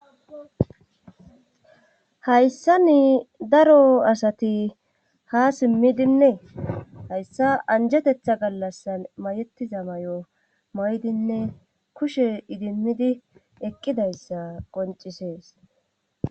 hayssani daro asati ha simmidinnee hayssa anjetetha gallasan mayetiza mayo may7dinne kushe idimidi eqqidayssa qoncisees